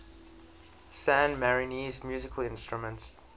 san marinese musical instruments